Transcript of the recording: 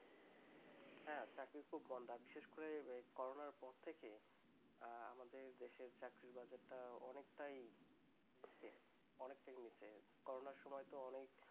হ্যাঁ চাকরির খুব মন্দা বিশেষ করে corona -র পর থেকে আমাদের দেশের চাকরির বাজারটা অনেকটাই নিচে অনেকটাই নিচে corona -র সময় তো অনেক